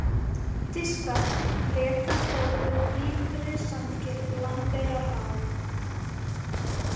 Diskvað, Flekakrókur, Ytra-Sandgil, Lambeyrará